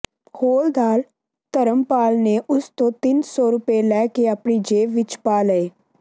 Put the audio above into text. ਹੌਲਦਾਰ ਧਰਮਪਾਲ ਨੇ ਉਸ ਤੋਂ ਤਿੰਨ ਸੌ ਰੁਪਏ ਲੈ ਕੇ ਆਪਣੀ ਜੇਬ ਵਿੱਚ ਪਾ ਲਏ